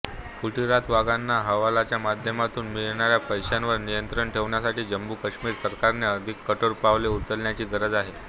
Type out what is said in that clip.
फुटीरतावाद्यांना हवालाच्या माध्यमातून मिळणाऱ्या पैशांवर नियंत्रण ठेवण्यासाठी जम्मूकाश्मीर सरकारने अधिक कठोर पावले उचलण्याची गरज आहे